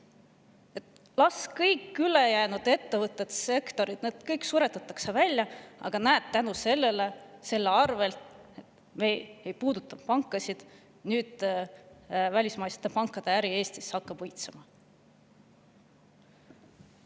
Kõik ülejäänud ettevõtted, kõik sektorid suretatakse välja, aga näed, tänu sellele et me ei puuduta pankasid, hakkab nüüd välismaiste pankade äri Eestis õitsema.